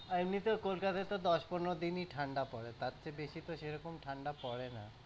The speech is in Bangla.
আর এমনিতেও তোর কাছে তো দশ পনেরো দিনই ঠাণ্ডা পরে তারতে বেশি তো সেরকম ঠাণ্ডা পরে না।